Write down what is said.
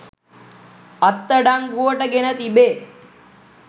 අත් අඩංගුවට ගෙන තිබේ.